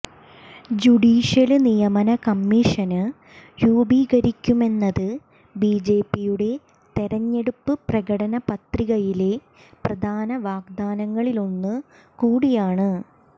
judicial നിയമന commission രൂപീകരിക്കുമെന്നത് ബിജെപിയുടെ തെരഞ്ഞെടുപ്പ് പ്രകടന പത്രികയിലെ പ്രധാന വാഗ്ദാനങ്ങളിലൊന്നു കൂടിയാണ്